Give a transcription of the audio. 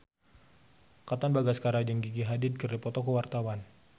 Katon Bagaskara jeung Gigi Hadid keur dipoto ku wartawan